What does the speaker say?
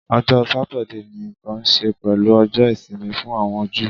Ọjọ Satidee ni nkan ṣe pẹlu Ọjọ isimi fun awọn Ju